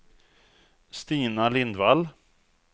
Stina Lindvall